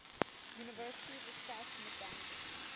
university discussed misandry